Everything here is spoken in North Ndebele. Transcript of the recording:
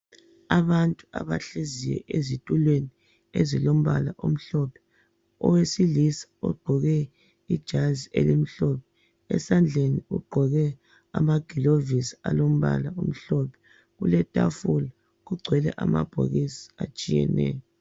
Abantu abahleziyo ezitulweni ezilombala omhlophe. Owesilisa ogqoke ijazi elimhlophe, lamagilovisi amhlophe. Kulelitafula kugcwele amabhokisi atshiyeneyo.